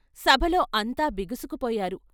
సభలో అంతా బిగుసుకు పోయారు.